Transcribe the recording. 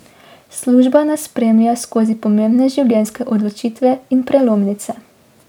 Služba nas spremlja skozi pomembne življenjske odločitve in prelomnice.